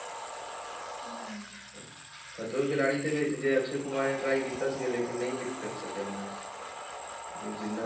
ਖਤਰੋਂ ਕੇ ਖਿਲਾਡੀ ਦੇ ਵਿੱਚ ਜੇ ਅਕਸ਼ੇ ਕੁਮਾਰ ਨੇ try ਕੀਤਾ ਸੀਗਾ ਲੇਕਿੰਨ ਨਹੀਂ hit ਕਰ ਸਕਿਆ ਓਨਾ ਇਹ ਜਿੰਨਾ,